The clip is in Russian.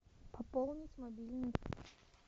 пополнить мобильный